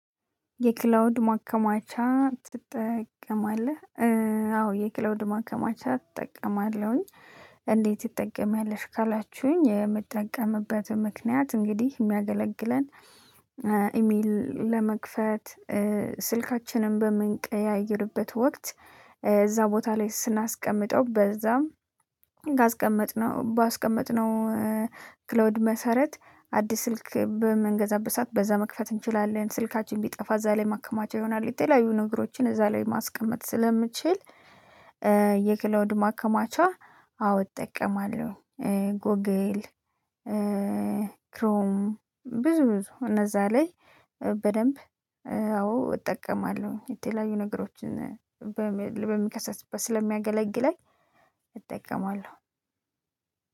የክላውድ ማከማቻ ትጠቀማለህ? አዎ የክላውድ ማከማቻ እጠቀማለሁኝ። እንዴት ትጠቀማለሽ? ካላችሁኝ የምጠቀምበት ምክንያት እንግዲህ የሚያገለግለን። ኢሜል ለመክፈት ስልካችንን በሞንቀያየርበት ወቅት። እዛ ቦታ ላይ ስናስቀምጠው በዛም። ባስቀመጥነው መሰረት አዲስ ስልክ በመንገዛበት ስዓት በዛ መክፈት እንችላለን። ስልካችን ቢጠፋ እዛ ላይ ማከማቻ ይሆናል። ይተለያዩ ነገሮችን እዛ ላይ ማስቀመጥ ስለምችል። የክላውድ ማከማቻ? አዎ እጠቀማለሁ። ጎግል ክሮም ብዙ ብዙ እነዛ ላይ። በደንብ አዎ እጠቀማለሁ የተለያዩ ነገሮችን። ስለሚያገለግለኝ እጠቀማለሁ።